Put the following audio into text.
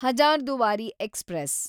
Hazarduari express